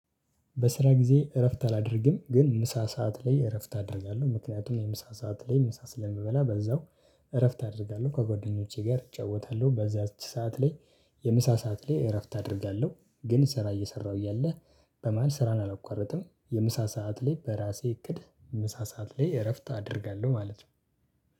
በስራ ጊዜ እረፍት አላደርግም ግን ምሳ ሰዓት ላይ እረፍት አደርጋለሁ ምክንያቱም የምሳ ሰዓት ላይ ምሳ ስለምበላ በዛው እረፍት አደርጋለሁ ከጓደኞቼ ጋር እጫወታለሁ በዛች ሰዓት ላይ። የምሳ ሰዓት ላይ እረፍት አደርጋለሁ ግን ስራ እየሰራሁ እያለው በመሃል ስራን አላቋርጥም የምሳ ሰዓት ላይ በራሴ እቅድ ምሳ ሰዓት ላይ እረፍት አደርጋለሁ ማለት ነው።